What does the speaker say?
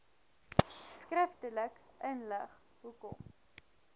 skriftelik inlig hoekom